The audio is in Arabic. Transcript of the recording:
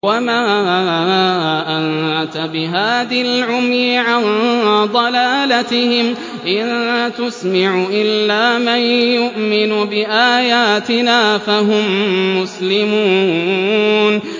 وَمَا أَنتَ بِهَادِ الْعُمْيِ عَن ضَلَالَتِهِمْ ۖ إِن تُسْمِعُ إِلَّا مَن يُؤْمِنُ بِآيَاتِنَا فَهُم مُّسْلِمُونَ